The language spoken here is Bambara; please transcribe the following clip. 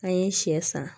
An ye sɛ san